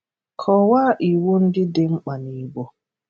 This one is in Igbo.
Kọwaa iwu ndị dị mkpa n’Igbo.